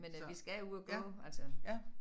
Men øh vi skal ud at gå altså